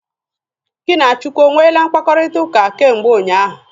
Gị na Chukwu o nweele mkpakọrịtaụka kemgbe ụnyaahụ?